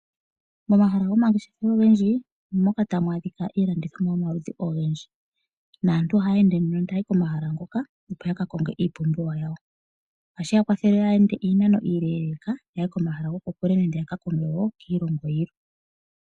Momahala gomangeshefelo ogendji omo moka tamu adhika iilandithomwa yomaludhi ogendji. Naantu ohaya ende nduno taayi komahala ngoka opo yaka konge iipumbiwa yawo. Ohashi ya kwathele yaa ende iinano iileeleka yahe komahala gokokule nenge yaka konge wo kiilongo yilwe.